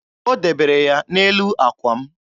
O debere ya n'elu àkwà m.